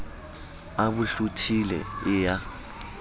a bo hlothile e ya